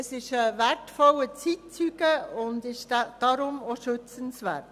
Es ist ein wertvoller Zeitzeuge und deshalb auch schützenswert.